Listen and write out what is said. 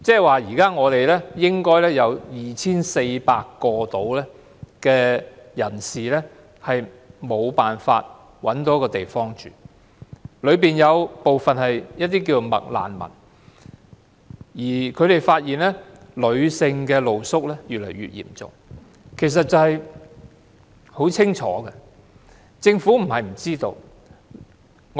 換言之，現時應該約有 2,400 名人士無法找到居所，當中有部分是"麥難民"，而他們發現女性露宿者問題越來越嚴重，情況相當清楚，政府不是不知道的。